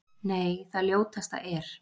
Nei, það ljótasta er.